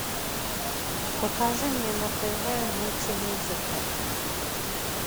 покажи мне на тв мультимузыка